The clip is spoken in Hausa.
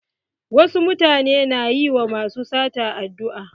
Wasu mutane na yi wa masu sata addu'a.